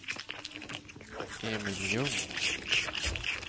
Emil Ljung